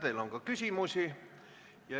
Teile on ka küsimusi.